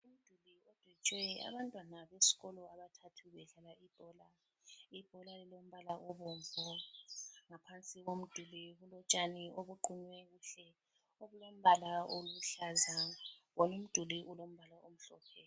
Kudwetshwe abantwana besikolo abathathu bedlala ibhola. Ibhola lilombala obomvu, ngapha komduli kulotshani obuqunywe kuhle obulombala oluhlaza, wona umduli ulombala omhlophe.